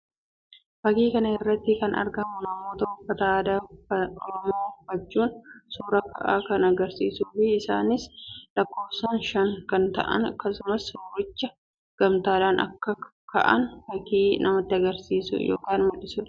Fakkii kana irratti kan argamu namoota uffata aadaa Oromoo uffachuun suuraa ka'an kan agarsiisuu fi isaanis lakkoofsaan shan kan ta'an akkasumas suuricha gamtaadhaan akka ka'an fakkki namatti agarsiisu yookiin mul'isuu dha